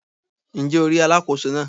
Ǹ jé o rí Alákóso náà